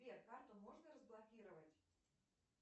сбер карту можно разблокировать